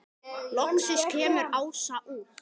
Loksins kemur Ása út.